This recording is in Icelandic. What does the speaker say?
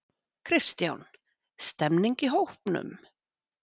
Kristján: Stemmning í hópnum?